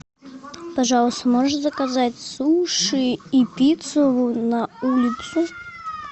пожалуйста можешь заказать суши и пиццу на улицу